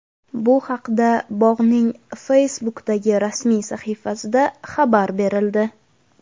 Bu haqda bog‘ning Facebook’dagi rasmiy sahifasida xabar berildi .